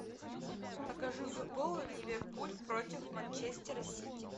покажи футбол ливерпуль против манчестера сити